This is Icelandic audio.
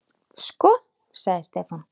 Sko. sagði Stefán.